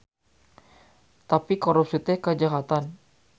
Tapi korupsi teh kajahatan.